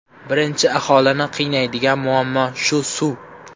Birinchi aholini qiynaydigan muammo shu suv.